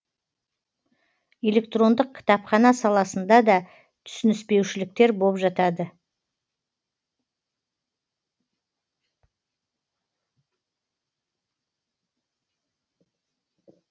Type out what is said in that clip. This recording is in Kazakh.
электрондық кітапхана саласында да түсініспеушіліктер боп жатады